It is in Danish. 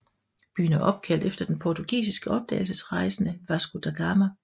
Byen er opkaldt efter den portugisiske opdagelsesrejsende Vasco da Gama